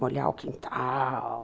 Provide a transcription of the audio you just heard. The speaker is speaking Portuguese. Molhar o quintal.